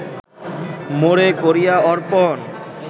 মোরে করিয়া অর্পণ